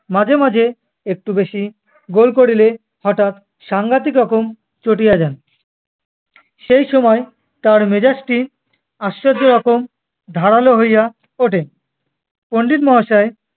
মাঝেমাঝে একটু বেশি গোল করিলে হঠাৎ সাংঘাতিক রকম চটিয়া যান। সেই সময় তার মেজাজটি আশ্চর্য রকম ধারালো হইয়া ওঠে। পণ্ডিত মহাশয়-